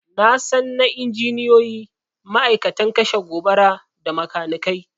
Nasan na injiniyoyi, ma'aikatan kashe gobara, da makanikai